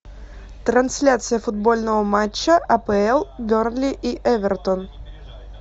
трансляция футбольного матча апл бернли и эвертон